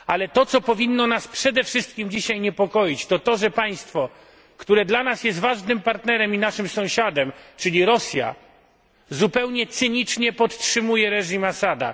To co powinno nas dzisiaj przede wszystkim niepokoić, to to, że państwo, które dla nas jest ważnym partnerem i naszym sąsiadem, czyli Rosja, zupełnie cynicznie podtrzymuje reżim Assada.